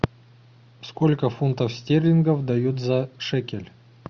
сколько фунтов стерлингов дают за шекель